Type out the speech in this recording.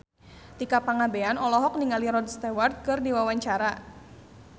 Tika Pangabean olohok ningali Rod Stewart keur diwawancara